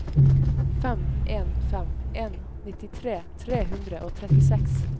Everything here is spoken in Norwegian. fem en fem en nittitre tre hundre og trettiseks